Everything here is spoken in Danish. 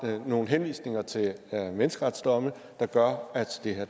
nogle henvisninger til menneskeretsdomme der gør at det her